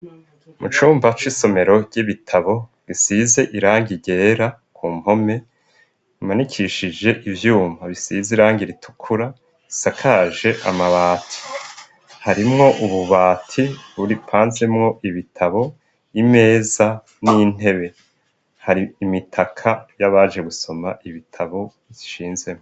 Mu cumba c'isomero ry'ibitabo bisize irangi ryera ku mpome imanikishije ivyuma bisize irangi ritukura isakaje amabati. Harimwo ububati buri pansemwo ibitabo y'imeza n'intebe. Hari imitaka y'abaje gusoma ibitabo bishinzemwo.